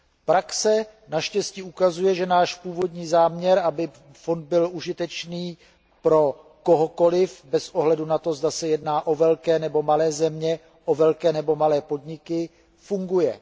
Praxe naštěstí ukazuje, že náš původní záměr, aby byl fond užitečný pro kohokoliv bez ohledu na to, zda se jedná o velké nebo malé země, o velké nebo malé podniky, funguje.